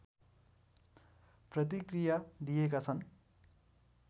प्रतिक्रिया दिएका छन्